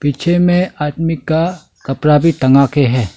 पीछे में आदमी का कपड़ा भी टंगा के हैं।